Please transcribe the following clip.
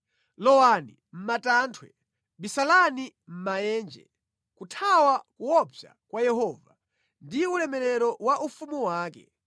Lowani mʼmatanthwe, bisalani mʼmaenje, kuthawa kuopsa kwa Yehova ndi ulemerero wa ufumu wake!